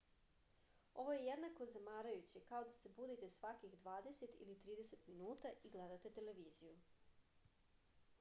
ovo je jednako zamarajuće kao da se budite svakih dvadeset ili trideset minuta i gledate televiziju